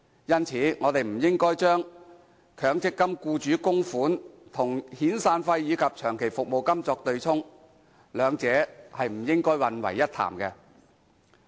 因此，我們不應該把強積金僱主供款與遣散費及長期服務金作對沖，兩者不應混為一談。